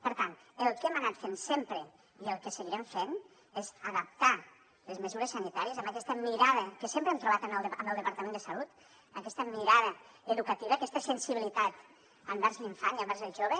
per tant el que hem anat fent sempre i el que seguirem fent és adaptar les mesures sanitàries amb aquesta mirada que sempre hem trobat amb el departament de salut aquesta mirada educativa aquesta sensibilitat envers l’infant i envers el jove